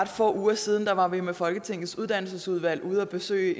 få uger siden var vi med folketingets uddannelsesudvalg ude at besøge